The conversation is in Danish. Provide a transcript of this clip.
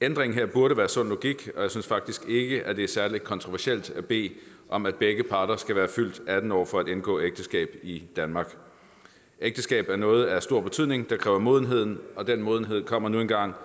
ændringen her burde være sund logik og jeg synes faktisk ikke at det er særlig kontroversielt at bede om at begge parter skal være fyldt atten år for at indgå ægteskab i danmark ægteskab er noget af stor betydning der kræver modenhed og den modenhed kommer nu engang